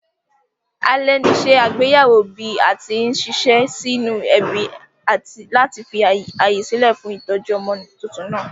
Alè ní se àgbéyéwò bí atí n siṣẹ́ sí nínú ẹbí láti fi ààyè sílè fún ìtójú ọmọ tuntun nàá